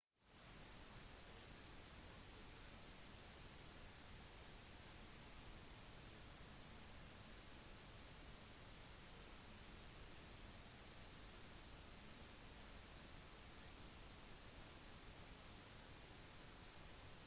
i stedet for å vente til neste gang de møtes ansikt til ansikt kan elever sende inn spørsmål til instruktørene når som helst på dagen og få ganske rask respons